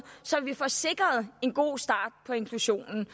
så vi får sikret en god start på inklusionen